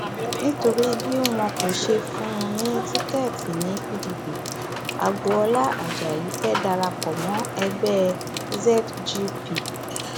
nítorí bí wọn kò ṣe fún un ní tíkẹẹtì ni pdp agboola ajayi fẹẹ dara pọ mọ ẹgbẹ zgp